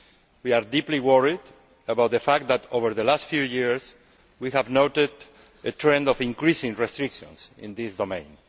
We are deeply worried abut the fact that over the last few years we have noted a trend of increasing restrictions in this domain.